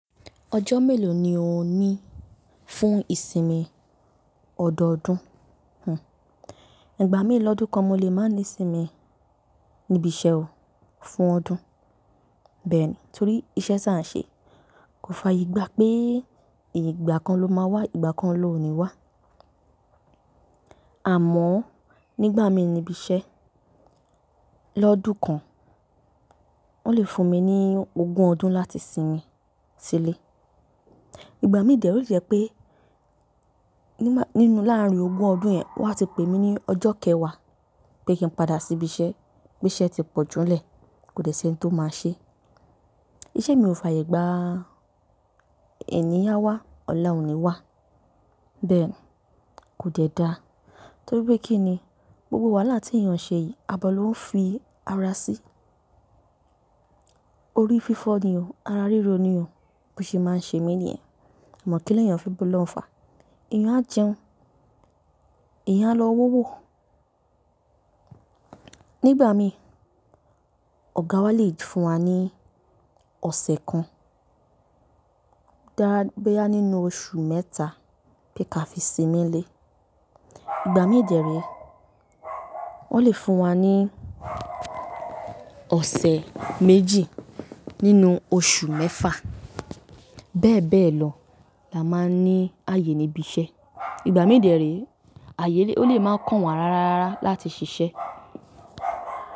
Ọjọ́ mélòó ni o ní fún ìsinmi ọ̀dọ̀ ọdún? Ìgbà mí lọ́dún kan mo lè máa ní sinmi níbi iṣẹ́ o fún ọdún. Bẹ́ẹ̀ni torí iṣẹ́ tí à ń ṣe kò fàyè gbá pé ìgbà kan ló ma wà, ìgbà kan lọ ní wà àmọ́ nígbà mí níbi iṣẹ́ lọ́dún kan wọn lè fún mi ní ogún ọdún láti sinmi sílé. Ìgbà mí dè ree ó lè jẹ́ pé nínú láàrin ogún ọdún yẹn wọn á ti pè mí ní ọjọ́ kẹwàá pé kí n padà sí ibi iṣẹ́, pé iṣẹ́ ti pọ̀jùúnlẹ̀ kò dẹ́ si ẹni tó máa ṣe. Iṣẹ́ mi ò fàyè gbà ẹni a wá ọ̀la ò ní wà. Bẹ́ẹ̀ kò dẹ́ dáa torí pé kí ni gbogbo wàhálà tí èèyàn ṣe yìí, abọ́ ló ń fi ara sí. Orí fífọ́ ni o, ara rírọ ni o bó ṣe máa ń ṣe mí ní yẹn. Amọ̀ kí ni èèyàn fẹ́ bá olohun fà, èèyàn á jẹun, èèyàn á lọ wa ówò. Nígbà mí ọ̀gá wa lè fún wa ní ọ̀sẹ̀ kan bóyá nínú oṣù mẹ́ta pé ká fi sinmi lé. Ìgbà mí dè ree wọn lè fún wa ní ọ̀sẹ̀ méjì nínú oṣù mẹ́fà. Bẹ́ẹ̀ bẹ́ẹ̀ lọ la máa ń ní ààyè níbi iṣẹ́. Ìgbà mí dè ree ààyè lè máa kàn wà rárá láti ṣiṣẹ́.